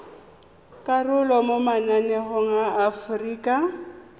karolo mo mananeng a aforika